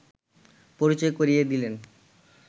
পরিচয় করিয়ে দিলেন